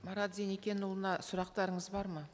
марат зеникенұлына сұрақтарыңыз бар ма